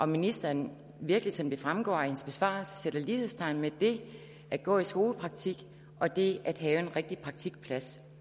ministeren virkelig som det fremgår af hendes besvarelse sætter lighedstegn mellem det at gå i skolepraktik og det at have en rigtig praktikplads